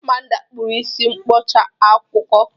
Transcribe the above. Amaobi kpụrụ isi mkpọwa akụkụ.